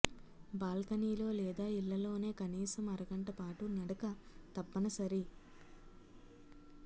బాల్కనీలో లేదా ఇళ్లలోనే కనీసం అరగంట పాటు నడక తప్పని సరి